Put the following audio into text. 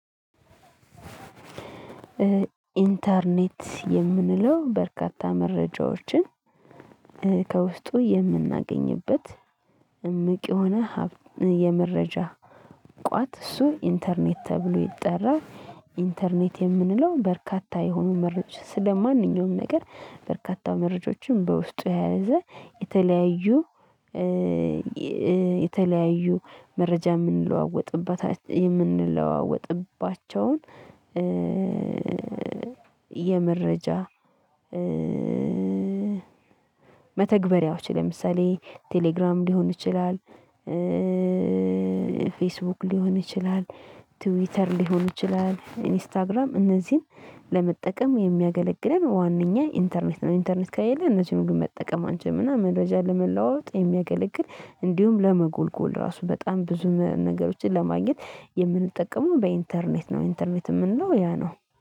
ኢንተርኔት የምንለው በርካታ መረጃዎችን ከውስጡ የምናገኝበት እምቅ የሆነ የመረጃ ቋት እሱ ኢንተርኔት ተብሎ ይጠራል። ኢንተርኔት የምንለው በርካታ የሆኑ መረጃ ስለማንኛውም ነገር በርካታ መረጃዎችን በውስጡ የያዘ። የተለያዩ የተለያዩ መረጃ የምንለዋወጥባቸውን። የመረጃ መተግበሪያዎች ለምሳሌ ቴሌግራም ሊሆን ይችላል። ፌስቡክ ሊሆን ይችላል ትዊተር ሊሆን ይችላል ኢንስታግራም እነዚህን ለመጠቀም የሚያገለግለን ዋናኛ ኢንተርኔት ነው። ኢንተርኔት ከሌለ እነዚህን ሁሉ መጠቀም አንችልምና። መረጃ ለመለዋወጥ የሚያገለግል እንዲሁም ለመጎልጎል ራሱ በጣም ብዙ ነገሮችን ለማግኘት የምንጠቀመው በኢንተርኔት ነው። ኢንተርኔት የምንለው ያ ነው